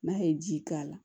N'a ye ji k'a la